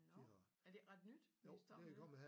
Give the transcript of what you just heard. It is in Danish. Nå er det ikke ret nyt de er stoppet med det?